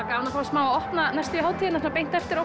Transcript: gaman að fá að opna hátíðina beint eftir